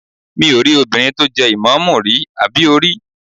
Mi ò rí obìnrin tó jẹ́ ìmáàmù rí, àbí o rí?